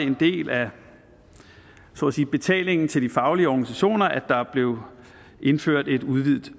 en del af betalingen til de faglige organisationer at der blev indført et udvidet